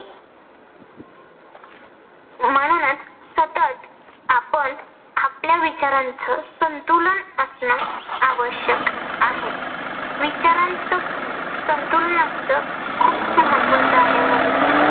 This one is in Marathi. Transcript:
म्हणूनच सतत आपण आपल्या विचारांचं संतुलन असन आवश्यक आहे. विचारांचं संतुलन असत खूप महत्वाच आहे म्हणून